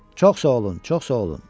Çox sağ olun, çox sağ olun.